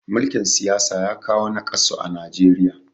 mulikin siyasa ya kawo nakasu a Najeriya